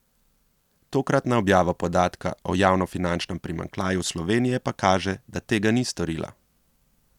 Tokratna objava podatka o javnofinančnem primanjkljaju Slovenije pa kaže, da tega ni storila.